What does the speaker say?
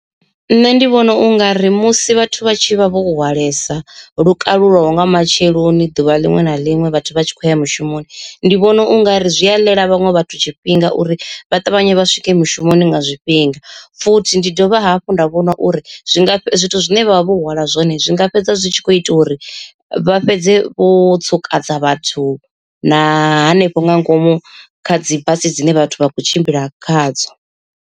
Nṋe ndi vhona ungari musi vhathu vha tshi vha vho hwalesa lukalulaho nga matsheloni ḓuvha liṅwe na liṅwe vhathu vha tshi khou ya mushumoni, ndi vhona ungari zwi a ḽela vhaṅwe vhathu tshifhinga uri vha ṱavhanye vha swike mushumoni nga zwifhinga. Futhi ndi dovha hafhu nda vhona uri zwi nga zwithu zwine vhavha vho hwala zwone zwinga fhedza zwi tshi kho ita uri vha fhedze vho tsukadza vhathu na hanefho nga ngomu kha dzi basi dzine vhathu vha khou tshimbila khadzo.